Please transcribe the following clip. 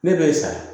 Ne b'e sa